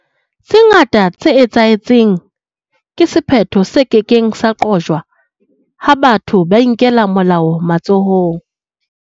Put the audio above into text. Tse ngata tse etsahetseng ke sephetho se ke keng sa qojwa ha batho ba inkela molao matsohong.